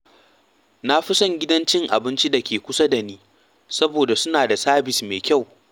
Na fi son gidan cin abinci da ke kusa da ni saboda suna da sabis mai kyau.